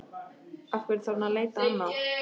Af hverju þarf hann að leita annað?